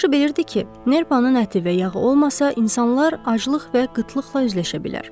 Yaxşı bilirdi ki, nerpanın əti və yağı olmasa, insanlar aclıq və qıtlıqla üzləşə bilər.